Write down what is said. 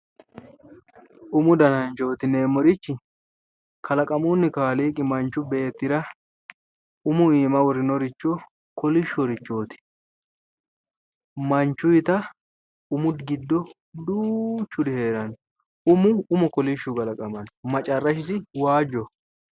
Umu dananchooti yineemmorichi kalaqamunni Kaaliiqi manchu beettira umu iima worinoricho kolishshorichooti, manchuyiita umu giddo duuchuri heeranno umo umu kolishshu kalaqamanno, macarrashisi waajjoho.